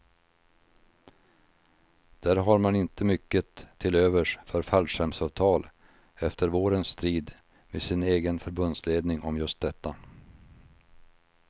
Där har man inte mycket till övers för fallskärmsavtal efter vårens strid med sin egen förbundsledning om just detta.